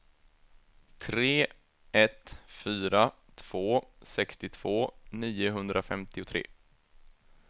tre ett fyra två sextiotvå niohundrafemtiotre